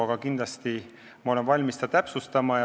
Aga kindlasti olen ma valmis seda täpsustama.